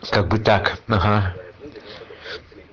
как бы так ага